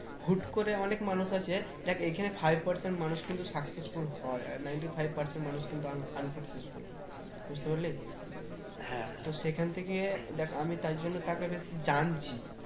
হুট্ করে অনেক মানুষ আছে, দেখ এখানে five percent মানুষ কিন্তু successful হয় আর ninety-five percent লোক কিন্তু un unsuccessful বুঝতে পারলি তো সেখান থেকে দেখ আমি তাই জন্য তাকে বেশি জানছি